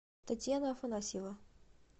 татьяна афанасьева